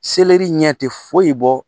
ɲɛ te foyi bɔ